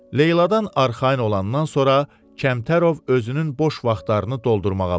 Leyladan arxayın olandan sonra Kəmtərov özünün boş vaxtlarını doldurmağa başladı.